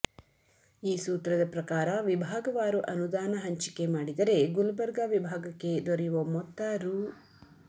ಈ ಸೂತ್ರದ ಪ್ರಕಾರ ವಿಭಾಗವಾರು ಅನುದಾನ ಹಂಚಿಕೆ ಮಾಡಿದರೆ ಗುಲಬರ್ಗಾ ವಿಭಾಗಕ್ಕೆ ದೊರೆಯುವ ಮೊತ್ತ ರೂ